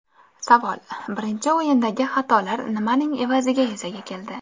Savol: Birinchi o‘yindagi xatolar nimaning evaziga yuzaga keldi?